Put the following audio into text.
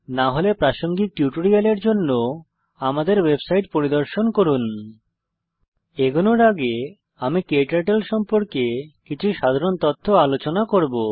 না হলে প্রাসঙ্গিক টিউটোরিয়ালের জন্য আমাদের ওয়েবসাইট পরিদর্শন করুন httpspoken tutorialorg এগোনোর আগে আমি ক্টার্টল সম্পর্কে কিছু সাধারণ তথ্য আলোচনা করব